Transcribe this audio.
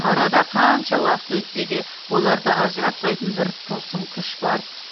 арада қанша уақыт өтсе де оларды ажыратпайтын бір тылсым күш бар